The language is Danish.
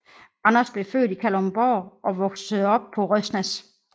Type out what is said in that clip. Anders blev født i Kalundborg og voksede op på Røsnæs